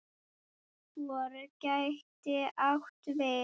FOR gæti átt við